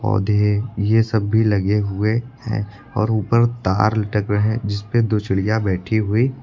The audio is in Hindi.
ये सब भी लगे हुए हैं और ऊपर तार लटक रहे हैं जिस पे दो चिड़िया बैठी हुई--